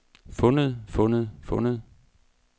fundet fundet fundet